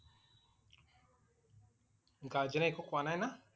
Guardian এ একো কোৱা নাই না?